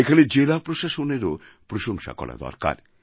এখানে জেলা প্রশাসনেরও প্রশংসা করা দরকার